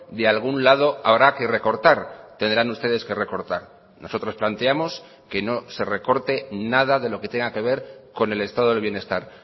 de algún lado habrá que recortar tendrán ustedes que recortar nosotros planteamos que no se recorte nada de lo que tenga que ver con el estado del bienestar